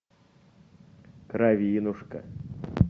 кровинушка